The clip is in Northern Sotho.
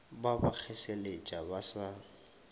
ba ba kgeseletša ba sa